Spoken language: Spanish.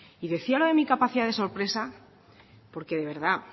y decía lo de mi capacidad de sorpresa porque de verdad